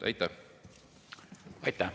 Aitäh!